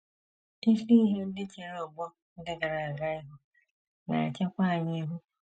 Isi ihe ndị chere ọgbọ ndị gara aga ihu na - echekwa anyị ihu.